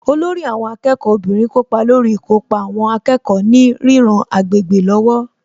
Olórí àwọn akẹ́kọ̀ọ́ obìnrin kópa lórí ìkópa àwọn akẹ́kọ̀ọ́ ní ríran agbègbè lọ́wọ́